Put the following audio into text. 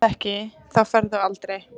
Ef þú ferð ekki þá, ferðu aldrei.